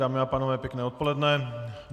Dámy a pánové, pěkné odpoledne.